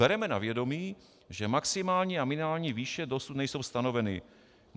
Bereme na vědomí, že maximální a minimální výše dosud nejsou stanoveny.